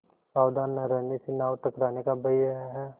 सावधान न रहने से नाव टकराने का भय है